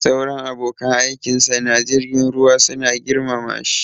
Sauran abokan aikinsa na jirgin ruwa suna girmama shi